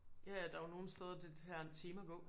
Ja ja der er jo nogen steder det tager en time at gå